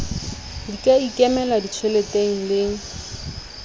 di ka ikemela ditjheleteng le